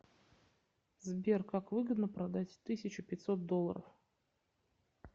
сбер как выгодно продать тысячу пятьсот долларов